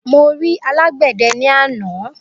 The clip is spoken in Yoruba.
Mo ri alàgbéde ní àná